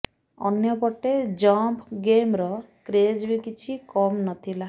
ଅନ୍ୟପଟେ ଜମ୍ପ ଗେମ୍ର କ୍ରେଜ୍ ବି କିଛି କମ୍ ନଥିଲା